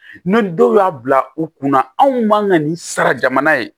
Ni dɔw y'a bila u kunna anw man ka nin sara jamana ye